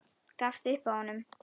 Gafst upp á honum.